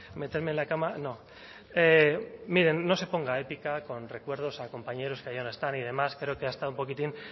meterme en la cama no mire no se ponga épica con recuerdos a compañeros que ya no están y demás creo que ha estado un poquitín